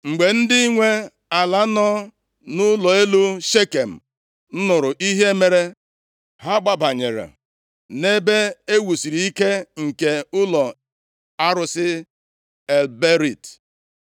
Mgbe ndị nwe ala nọ nʼụlọ elu Shekem nụrụ ihe mere, ha gbabanyere nʼebe e wusiri ike nke ụlọ arụsị El Berit.